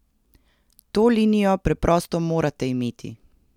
To linijo preprosto morate imeti!